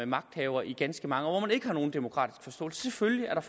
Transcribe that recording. magthaver i ganske mange år og ikke har nogen demokratisk forståelse selvfølgelig er der